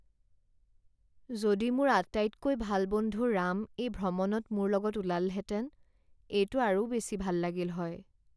যদি মোৰ আটাইতকৈ ভাল বন্ধু ৰাম এই ভ্ৰমণত মোৰ লগত ওলালহেঁতেন। এইটো আৰু বেছি ভাল লাগিল হয়।